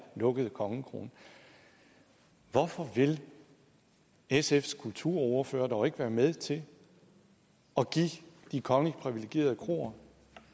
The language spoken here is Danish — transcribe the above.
lukkede kongekrone hvorfor vil sfs kulturordfører dog ikke være med til at give de kongeligt privilegerede kroer